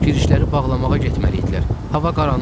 Girişləri bağlamağa getməlidirlər, hava qaranlıqdır.